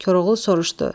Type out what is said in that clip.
Koroğlu soruşdu: